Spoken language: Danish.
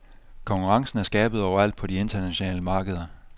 Konkurrencen er skærpet overalt på de internationale markeder.